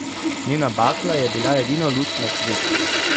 Njena bakla je bila edina luč na svetu.